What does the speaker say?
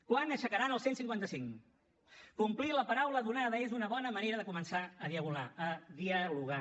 quan aixecaran el cent i cinquanta cinc complir la paraula donada és una bona manera de començar a dialogar